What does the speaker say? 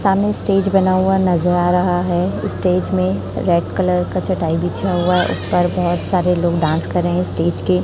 सामने स्टेज बना हुआ नज़र आ रहा है स्टेज में कलर का चटाई बिछा हुआ है ऊपर बहोत सारे लोग डांस कर रहे है स्टेज के --